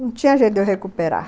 Não tinha jeito de eu recuperar.